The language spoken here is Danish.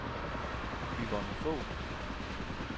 Yvonne Fogh